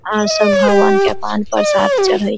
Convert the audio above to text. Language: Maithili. आर सब भगवान के पान प्रसाद चढ़ी --